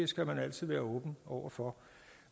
skal man altid være åben over for